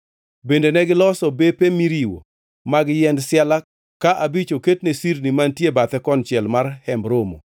Bende negiloso bepe miriwo mag yiend siala ka abich oket ne sirni mantie bathe konchiel mar Hemb Romo,